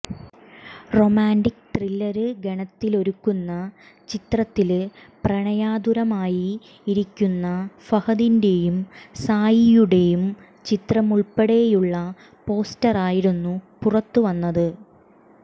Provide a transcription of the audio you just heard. romantic thriller ഗണത്തിലൊരുക്കുന്ന ചിത്രത്തില് പ്രണയാതുരമായി ഇരിക്കുന്ന ഫഹദിന്റെയും സായിയുടെയും ചിത്രമുള്പ്പെടെയുള്ള പോസ്റ്ററായിരുന്നു പുറത്ത് വന്നത്